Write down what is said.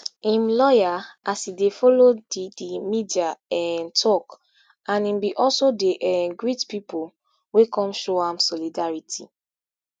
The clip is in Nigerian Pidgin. im lawyer as e dey follow di di media um tok and im bin also dey um greet pipo wey come show am solidarity